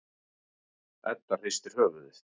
Edda hristir höfuðið.